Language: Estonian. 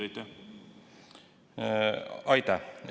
Aitäh!